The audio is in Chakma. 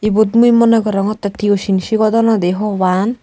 ibot mui mone gorongotte tuition sigodonnoi di parapang.